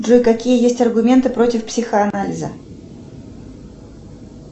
джой какие есть аргументы против психоанализа